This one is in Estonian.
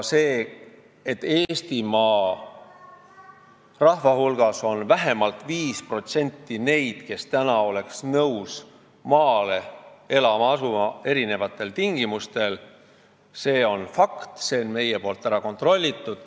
See, et Eestimaa rahva hulgas on vähemalt 5% neid, kes oleks erinevatel tingimustel nõus maale elama asuma, on fakt.